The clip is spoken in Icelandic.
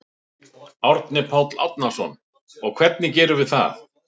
Árni Páll Árnason: Og hvernig gerum við það?